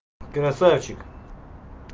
красавчик